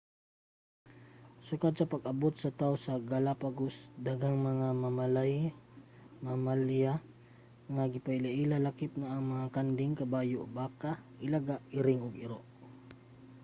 sukad sa pag-abot sa tawo sa galapagos daghang mga mamalya ang gipailaila lakip na ang mga kanding kabayo baka ilaga iring ug iro